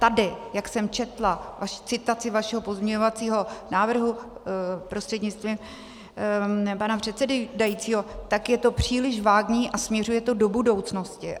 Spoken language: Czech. Tady, jak jsem četla citaci vašeho pozměňovacího návrhu, prostřednictvím pana předsedajícího, tak je to příliš vágní a směřuje to do budoucnosti.